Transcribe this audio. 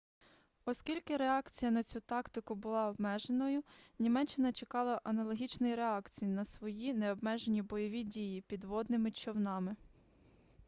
оскільки реакція на цю тактику була обмеженою німеччина чекала аналогічної реакції на свої необмежені бойові дії підводними човнами